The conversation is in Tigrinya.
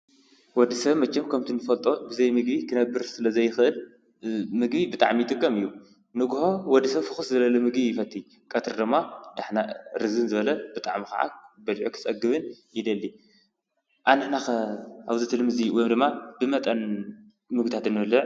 ወዲ ሰብ መቸም ከምቲ እንፈልጦ ብዘይ ምግቢ ክነብር ስለ ዘይኽእል ምግቢ ብጣዕሚ ይጥቀም እዩ። ንግሆ ወዲ ሰብ ፍኹስ ዘበለ ምግቢ ይፈቲ ቀትሪ ዶማ ዳሕና ርዝን ዝበለ ብጣዕሚ ኸዓ በሊዑ ኽጸግብን ይደሊ። ኣንሕና ኸ ኣብዚ ልሚ እዙይ ወይ ድማ ብመጠን ምግብታት ዶ ንበልዕ?